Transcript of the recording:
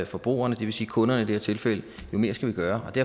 forbrugerne det vil sige kunderne i det her tilfælde jo mere skal vi gøre det